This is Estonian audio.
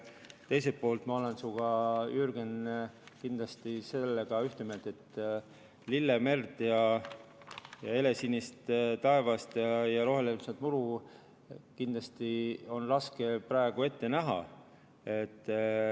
Teiselt poolt ma olen sinuga, Jürgen, kindlasti selles ühte meelt, et lillemerd, helesinist taevast ja rohelist muru on kindlasti raske praegu näha.